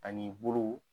Ani bolo